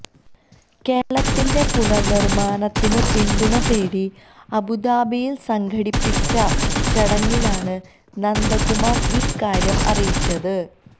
കേരളത്തിന്റെ പുനര്നിര്മാണത്തിന് പിന്തുണതേടി അബുദാബിയില് സംഘടിപ്പിച്ച ചടങ്ങിലാണ് നന്ദകുമാര് ഇക്കാര്യം അറിയിച്ചത്